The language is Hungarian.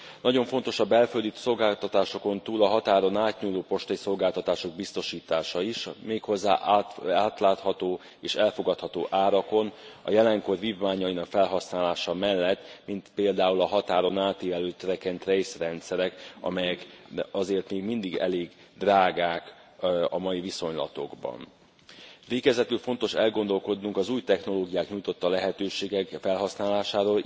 Nagyon fontos a belföldi szolgáltatásokon túl a határon átnyúló postai szolgáltatások biztosítása is, méghozzá átlátható és elfogadható árakon, a jelenkor vívmányainak felhasználása mellett, mint például a határon átívelő track and trace rendszerek, amelyek azért még mindig elég drágák a mai viszonylatokban. Végezetül fontos elgondolkodnunk az új technológiák nyújtotta lehetőségek felhasználásán.